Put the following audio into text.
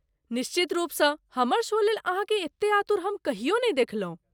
निश्चित रुपसँ, हमर शो लेल ,अहाँकेँ एतेक आतुर हम कहियो नहि देखलहुँ।